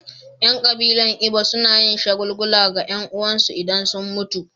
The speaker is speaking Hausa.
Yan kabilar Igbo na yin shagulgula ga 'yan uwansu idan sun mutu.